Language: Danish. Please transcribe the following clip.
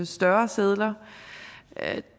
større sedler